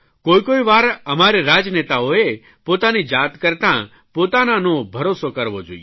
કોઇકોઇ વાર અમારે રાજનેતાઓએ પોતાની જાત કરતાં પોતાનાંનો ભરોસો કરવો જોઇએ